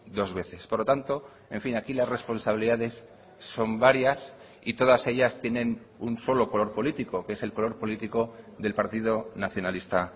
dos veces por lo tanto en fin aquí las responsabilidades son varias y todas ellas tienen un solo color político que es el color político del partido nacionalista